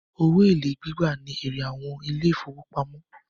Owó èlé gbígbà ní èrè àwọn ilé ìfọwọ́pamo.